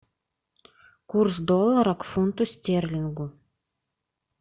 курс доллара к фунту стерлингу